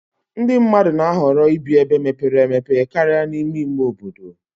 ndị mmadụ na-ahọrọ ibi ebe mepere emepe karịa n'ime ime obodo